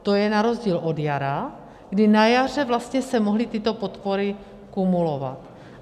To je na rozdíl od jara, kdy na jaře vlastně se mohly tyto podpory kumulovat.